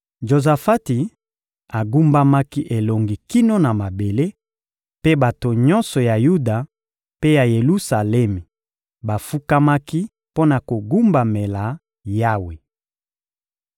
Jozafati agumbamaki elongi kino na mabele, mpe bato nyonso ya Yuda mpe ya Yelusalemi bafukamaki mpo na kogumbamela Yawe.